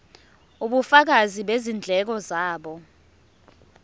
ubufakazi bezindleko zabo